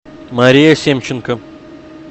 мария семченко